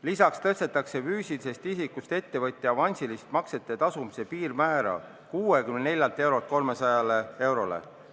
Lisaks tõstetakse füüsilisest isikust ettevõtja avansiliste maksete tasumise piirmäär 64 eurolt 300 eurole.